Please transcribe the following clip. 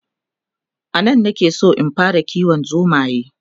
anan na ke San in fara kiwon zomaye